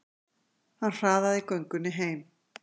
Hann hraðaði göngunni heim.